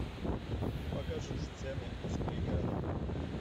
покажи сцены из пригорода